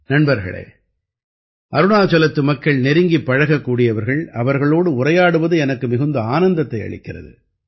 நண்பர்களே அருணாச்சலத்து மக்கள் நெருங்கிப் பழகக்கூடியவர்கள் அவர்களோடு உரையாடுவது எனக்கு மிகுந்த ஆனந்தத்தை அளிக்கிறது